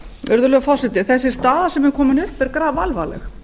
virðulegur forseti þessi staða sem er komin upp er grafalvarleg